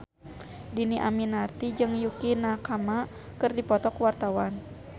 Dhini Aminarti jeung Yukie Nakama keur dipoto ku wartawan